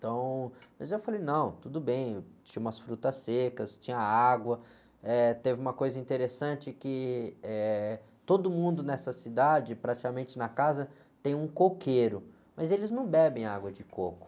Então, mas eu falei, não, tudo bem, tinha umas frutas secas, tinha água, teve uma coisa interessante que, eh, todo mundo nessa cidade, praticamente na casa, tem um coqueiro, mas eles não bebem água de coco.